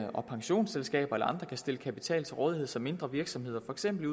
og pensionsselskaberne eller andre kan stille kapital til rådighed så mindre virksomheder for eksempel i